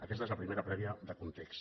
aquesta és la primera prèvia de context